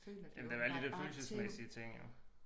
Ja men der er da alle de dér følelsesmæssige ting jo